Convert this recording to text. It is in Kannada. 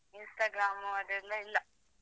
Instagram ಅದೆಲ್ಲ ಇಲ್ಲಾ.